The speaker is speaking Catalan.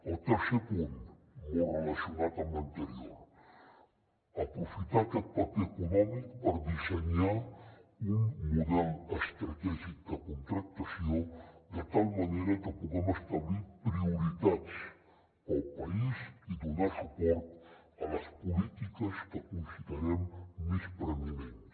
el tercer punt molt relacionat amb l’anterior aprofitar aquest paper econòmic per dissenyar un model estratègic de contractació de tal manera que puguem establir prioritats per al país i donar suport a les polítiques que considerem més preeminents